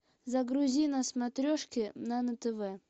загрузи на смотрешке нано тв